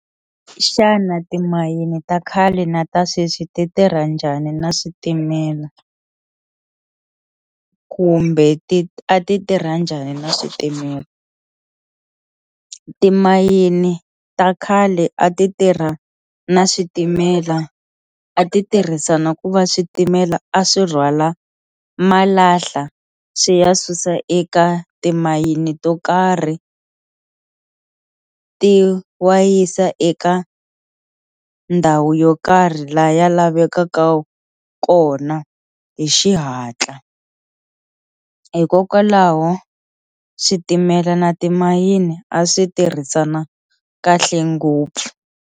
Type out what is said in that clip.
Xana timayini ta khale na ta sweswi ti tirha njhani na switimela kumbe ti a ti tirha njhani na switimela timayini ta khale a ti tirha na switimela a ti tirhisana ku va switimela a swi rhwala malahla swi ya susa eka timayini to karhi ti wa yisa eka ndhawu yo karhi laha yi lavekaka kona hi xihatla hikokwalaho switimela na timayini a swi tirhisana kahle ngopfu.